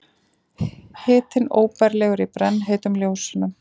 Hitinn óbærilegur í brennheitum ljósunum.